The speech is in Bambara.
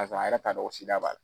Kafɔ a yɛrɛ ka dɔɔn ko sida b'ala.